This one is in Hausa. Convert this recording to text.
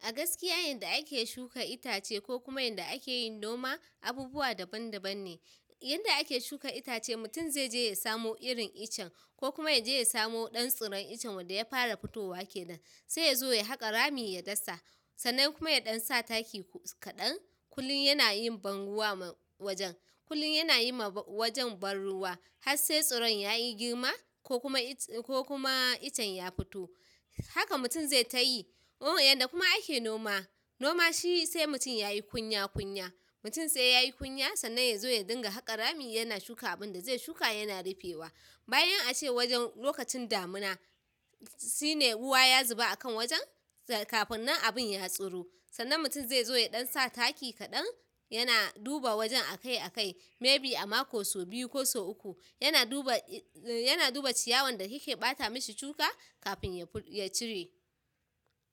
A gaskiya yanda ake shuka itace ko kuma yanda ake yin noma abubuwa daban daban ne. Yanda ake shuka itace, mutum zai je ya samo irin iccen ko kuma ya je ya samo ɗan tsiron iccen wanda ya fara fitowa ke nan. Sai ya zo ya haƙa rami, ya dasa sannan kuma ya ɗan sa taki kaɗan. Kullin yanayin banruwa ma wajen, kullin yana yiwa wajen ban ruwa, har sai tsiron yayi girma kokuma iccen ya fito. Haka mutum zai tayi. O yanda kuma ake noma, noma shi sai mutum yayi kunya kunya. Mutum sai yayi ƙunya sannan ya zo ya dinga haƙa rami. Yana shuka abinda zai shuka yana rufewa. Bayan ace wajen lokacin damina shine ruwa ya zuba a kan wajen kafin nan abin ya tsiro. Sannan mutum zai zo ya ɗan sa taki kaɗan, yana duba wajen a kai a kai. Maybe a mako so biyu ko so uku, yana duba, yana duba ciyawan da yake ɓata mishi shuka kafin ya ful, ya cire.